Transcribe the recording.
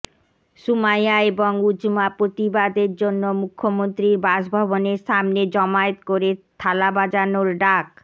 সুমাইয়া এবং উজ়মা প্রতিবাদের জন্য মুখ্যমন্ত্রীর বাসভবনের সামনে জমায়েত করে থালা বাজানোর ডাক